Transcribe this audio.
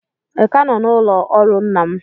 Ị ka nọ n'ụlọ ọrụ nna m?